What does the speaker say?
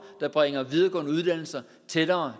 der bringer videregående uddannelser tættere